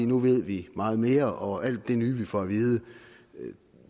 nu ved vi meget mere og alt det nye vi får at vide